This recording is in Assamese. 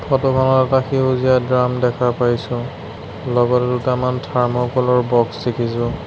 ফটো খনত এটা সেউজীয়া ড্ৰাম দেখা পাইছোঁ লগত দুটামান থাৰ্ম'কল ৰ বক্স দেখিছোঁ।